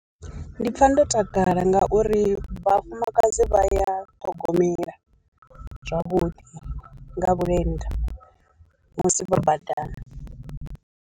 Ndi pfha ndo takala ngauri vhafumakadzi vha ya ṱhogomela zwavhuḓi nga vhulenda musi vha badani.